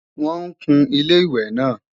Wọ́n ń kun Ilé-ìwẹ̀ náà